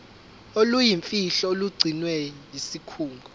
oluyimfihlo olugcinwe yisikhungo